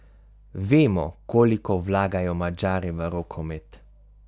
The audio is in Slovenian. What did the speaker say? Vemo, koliko vlagajo Madžari v rokomet.